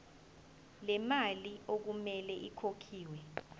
lemali okumele ikhokhelwe